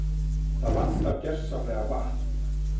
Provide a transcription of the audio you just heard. Það vantar gersamlega vatn